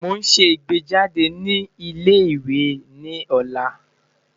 Mo n ṣe igbejade ni ile-iwe ni ọla